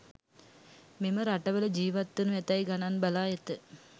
මෙම රටවල ජිවත් වනු ඇතැයි ගණන් බලා ඇත